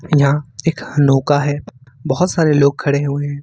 यहां एक नौका है बहुत सारे लोग खड़े हुए हैं।